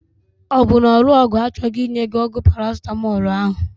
Ọ bụ na ore ọgwụ achọghị inye gị ọgwụ Paracetamol ahụ?